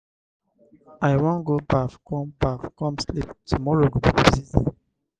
i wan go baff come baff come sleep tomorrow go be busy day.